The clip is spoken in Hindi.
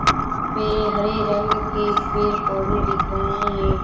यहाँ पे हरे रंग के पेड़-पौधे दिख रहें हैं।